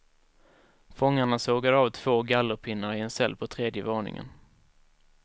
Fångarna sågade av två gallerpinnar i en cell på tredje våningen.